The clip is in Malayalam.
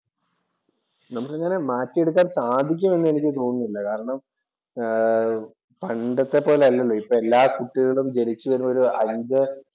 നമ്മക്ക് അങ്ങനെ മാറ്റിയെടുക്കാന്‍ സാധിക്കുമെന്ന് എനിക്ക് തോന്നുന്നില്ല. കാരണം പണ്ടത്തെപ്പോലെ അല്ലല്ലോ. ഇപ്പോ എല്ലാ കുട്ടികളും ജനിച്ച് കഴിഞ്ഞ ഒരു അഞ്ച്